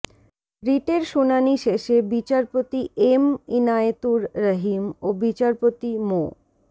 রিটের শুনানি শেষে বিচারপতি এম ইনায়েতুর রহিম ও বিচারপতি মো